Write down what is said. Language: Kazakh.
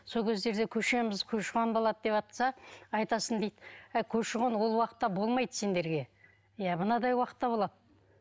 сол кездерде көшеміз көші қон болады деватса айтасың дейді әй көші қон ол уақытта болмайды сендерге иә мынадай уақытта болады